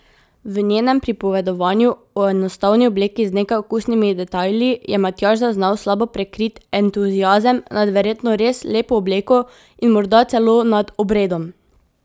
V njenem pripovedovanju o enostavni obleki z nekaj okusnimi detajli je Matjaž zaznal slabo prikrit entuziazem nad verjetno res lepo obleko in morda celo nad obredom.